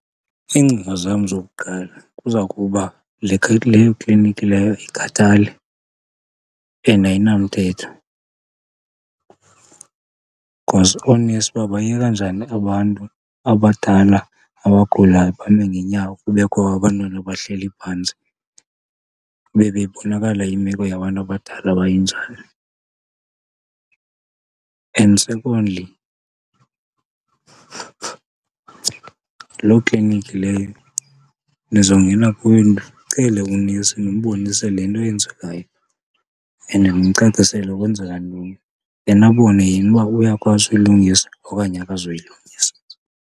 Iingcinga zam zokuqala kuza kuba leyo klinikhi leyo ayikhathali and ayinamthetho. Because oonesi babayeka njani abantu abadala abagulayo bame ngeenyawo kubekho abantwana abahleli phantsi, kube bebonakala imeko yabantu abadala uba injani? And secondly, loo klinikhi leyo ndizongena kuyo ndicele unesi ndimbonise le nto yenzekayo and ndimcacisele kwenzekani ntoni, then abone yena uba uyakwazi uyilungisa okanye akazuyilungisa.